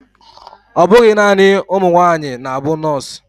Ọbụghị naanị ụmụnwaanyị na-bụ nurse